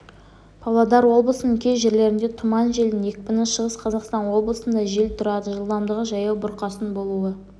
павлодар облысының кей жерлерінде тұман желдің екпіні шығыс қазақстан облысында жел тұрады жылдамдығы жаяу бұрқасын болуы